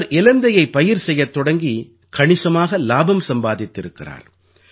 இவர் இலந்தையை பயிர் செய்யத் தொடங்கி கணிசமாக இலாபம் சம்பாதித்திருக்கிறார்